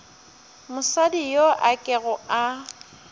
mosadi yo a kego a